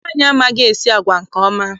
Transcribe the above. Nwaanyị amaghị-esi agwa nke ọma.